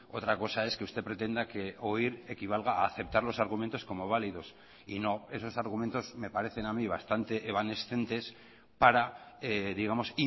otra cosa es que usted pretenda que oír equivalga a aceptar los argumentos como validos y no esos argumentos me parecen a mí bastante evanescentes para digamos